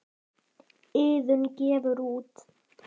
Iðunn gefur út.